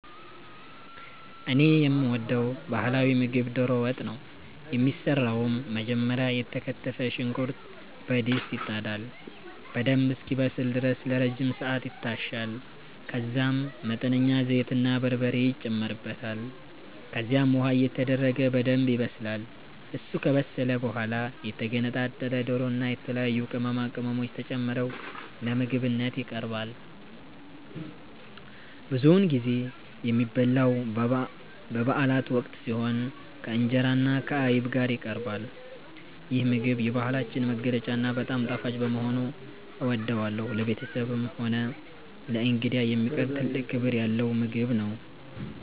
እኔ የምወደው ባህላዊ ምግብ ዶሮ ወጥ ነው። የሚሰራውም መጀመሪያ የተከተፈ ሽንኩርት በድስት ይጣዳል፤ በደንብ እስኪበስል ድረስ ለረጅም ሰዓት ይታሻል፤ ከዛም መጠነኛ ዘይትና በርበሬ ይጨመርበታል። ከዚያም ውሃ እየተደረገ በደንብ ይበሰላል። እሱ ከበሰለ በኋላ የተገነጣጠለ ዶሮና የተለያዩ ቅመማ ቅመሞች ተጨምረው ለምግብነት ይቀርባል። ብዙውን ጊዜ የሚበላው በበአላት ወቅት ሲሆን፣ ከእንጀራና ከአይብ ጋር ይቀርባል። ይህ ምግብ የባህላችን መገለጫና በጣም ጣፋጭ በመሆኑ እወደዋለሁ። ለቤተሰብም ሆነ ለእንግዳ የሚቀርብ ትልቅ ክብር ያለው ምግብ ነው።